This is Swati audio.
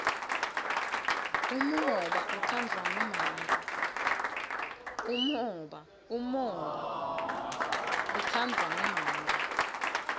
umhoba utsandvwa ngumake